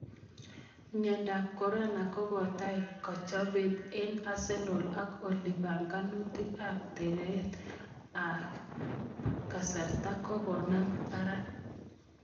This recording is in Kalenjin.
Mnyando ab Corona: Kokotai kachopet ab ke Arsenal ak oli panganutik ab taret ab kasarta kokokonam barak.